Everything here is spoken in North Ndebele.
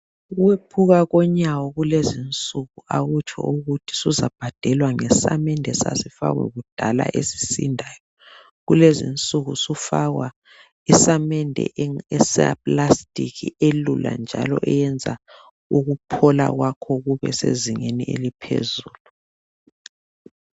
Ukwephuka konyawo kulezinsuku akutsho ukuthi suzabhadelwa ngesamende asasifakwa kudala esisindayo. Kulezinsuku sufakwa isamende esaplastiki elula njalo eyenza ukuphola kwakho kube sezingeni eliphezulu